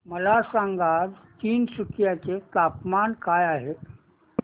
मला सांगा आज तिनसुकिया चे तापमान काय आहे